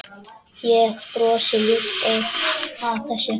Ég brosi ljúft að þessu.